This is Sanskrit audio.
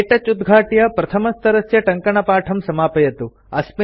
क्तौच उद्घाट्य प्रथमस्तरस्य टङ्कणपाठं समापयतु